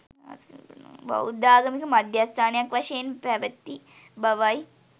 බෞද්ධාගමික මධ්‍යස්ථානයක්, වශයෙන් පැවැති බවයි.